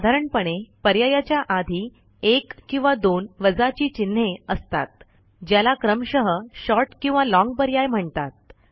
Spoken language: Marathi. साधारणपणे पर्यायाच्या आधी एक किंवा दोन वजाची चिन्हे असतात ज्याला क्रमशः शॉर्ट किंवा लाँग पर्याय म्हणतात